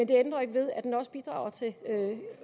det ændrer ikke ved at den også bidrager til